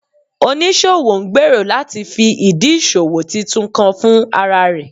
Onisowo ngbero lati fi idi iṣowo titun kan fun ara rẹ